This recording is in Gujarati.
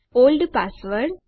old password